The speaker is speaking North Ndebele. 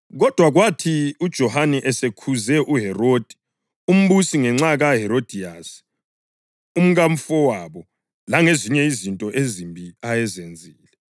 Kodwa kwathi uJohane esekhuze uHerodi umbusi ngenxa kaHerodiyasi, umkamfowabo, langezinye izinto ezimbi ayezenzile,